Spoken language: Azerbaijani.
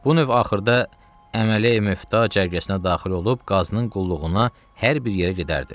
Bu növ axırda əmələ müftə cərgəsinə daxil olub qazının qulluğuna hər bir yerə gedərdi.